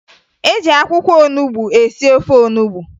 E jị akwụkwọ onubo esi ofe onubo